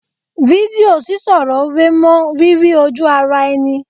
Fídíò sísọ̀rọ̀ wé mọ́ rírí ojú ara ẹni